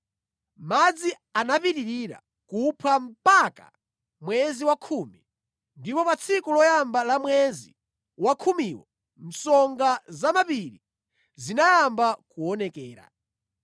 Madzi anapitirira kuphwa mpaka mwezi wa khumi, ndipo pa tsiku loyamba la mwezi wa khumiwo msonga za mapiri zinayamba kuonekera.